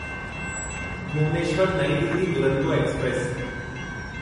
भुवनेश्वर नईं दिल्ली दुरंतो एक्सप्रेस